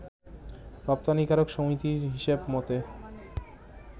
রপ্তানিকারক সমিতির হিসেব মতে